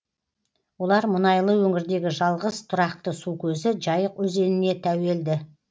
олар мұнайлы өңірдегі жалғыз тұрақты су көзі жайық өзеніне тәуелді